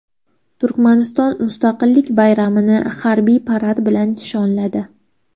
Turkmaniston Mustaqillik bayramini harbiy parad bilan nishonladi.